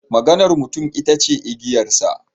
Maganar mutum ita ce igiyarsa.